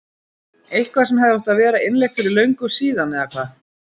Eitthvað sem hefði átt að vera innleitt fyrir löngu síðan eða hvað?